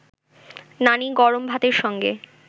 নানি গরম ভাতের সঙ্গে